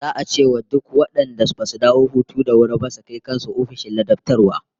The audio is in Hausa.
Za'a ce wa duk wadanda basu dawo hutu da wuri ba su kai kan su ofishin ladabtarwa